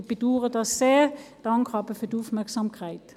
Ich bedauere das sehr, bedanke mich aber für die Aufmerksamkeit.